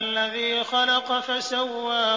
الَّذِي خَلَقَ فَسَوَّىٰ